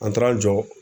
An taara an jɔ